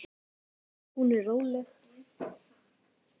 Hún er róleg.